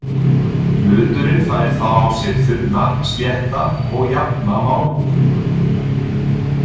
Hluturinn fær þá á sig þunna, slétta og jafna málmhúð.